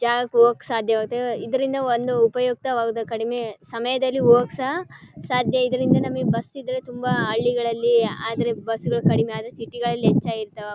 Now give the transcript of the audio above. ಜಾಗಾಕ್ ಹೋಗೋಕ್ ಸಾಧ್ಯವಾಗುತ್ತೆ ಇದ್ರಿಂದ ಒಂದು ಉಪಯುಕ್ತವಾದ ಕಡಿಮೆ ಸಮಯದಲ್ಲಿ ಹೋಗೋಕ್ ಸಹ ಸಾಧ್ಯ ಇದರಿಂದ ನಮಗೇ ಬಸ್ ಇದ್ರೆ ತುಂಬಾ ಹಳ್ಳಿಗಳಲ್ಲಿ ಆದ್ರೆ ಬಸ್ಗಳು ಕಡಿಮೆ ಆದ್ರೆ ಸಿಟಿಗಳಲ್ಲಿ ಹೆಚ್ಚಾಗಿ ಇರ್ತವೆ .